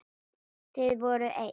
Þið voruð eitt.